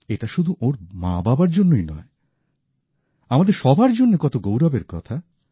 এটা শুধু ওঁর মাবাবার জন্যই নয় আমাদের সবার জন্য কত গৌরবের কথা